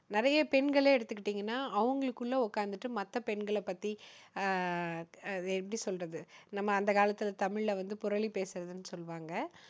நிறைய பெண்களே எடுத்துக்கிட்டீங்கன்னா, அவங்களுக்குள்ள உக்காந்துகிட்டு மத்த பெண்களை பத்தி அஹ் அதை எப்படி சொல்றது? நம்ம அந்த காலத்துல தமிழ்ல வந்து புரலி பேசுறதுன்னு சொல்லுவாங்க.